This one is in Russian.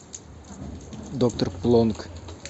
доктор плонк